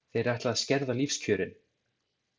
Þeir ætla að skerða lífskjörin.